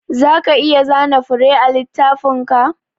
Zaka iya zana fure a littafinka?